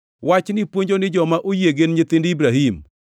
Wachni puonjo ni joma oyie gin nyithind Ibrahim.